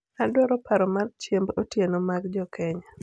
adwaro paro mar chiemb otieno mag jokenya